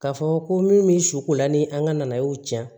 K'a fɔ ko min bɛ su ko la ni an ka na ye u tiɲɛ